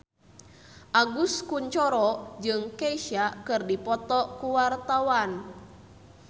Agus Kuncoro jeung Kesha keur dipoto ku wartawan